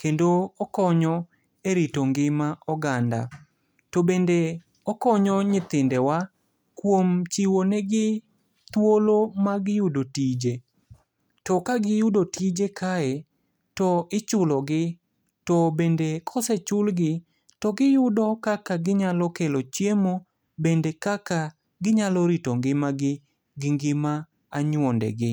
Kendo okonyo e rito ngima oganda. To bende okonyo nyithindewa kuom chiwo negi thuolo mag yudo tije. To kagiyudo tije kae to ichulogi. To bende kosechulgi to giyudo kaka ginyalo kelo chiemo, bende kaka ginyalo rito ngimagi gi ngima anyuondegi.